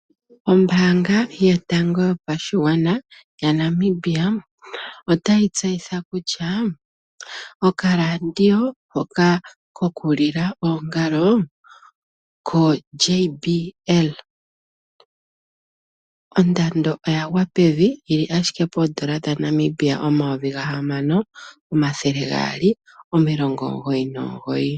Ombaanga yo tango yopa shigwana ya Namibia otayi tseyitha kutya oka ladio hoka koku lila oongalo ko (gpl) ondando oya gwa pevi yili ashike Poondol dha Namibia omayovi ga hamano omathele gaali omilongo omugoyi nomugoyi.